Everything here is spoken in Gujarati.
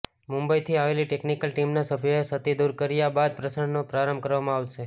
મુંબઈથી આવેલી ટેકનિકલ ટીમના સભ્યોએ ક્ષતિ દુર કર્યા બાદ પ્રસારણનો પ્રારંભ કરવામાં આવશે